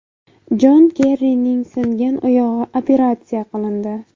Jon Kerrining singan oyog‘i operatsiya qilindi.